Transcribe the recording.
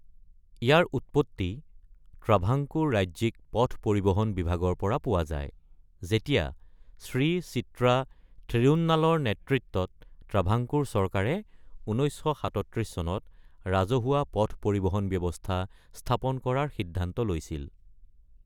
ইয়াৰ উৎপত্তি ট্ৰাভাঙ্কোৰ ৰাজ্যিক পথ পৰিবহণ বিভাগৰ পৰা পোৱা যায়, যেতিয়া শ্ৰী চিত্ৰা থিৰুন্নালৰ নেতৃত্বত ট্ৰাভাঙ্কোৰ চৰকাৰে ১৯৩৭ চনত ৰাজহুৱা পথ পৰিবহন ব্যৱস্থা স্থাপন কৰাৰ সিদ্ধান্ত লৈছিল।